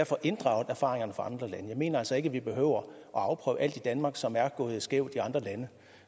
får inddraget erfaringerne fra andre lande jeg mener altså ikke vi behøver at afprøve alt i danmark som er gået skævt i andre lande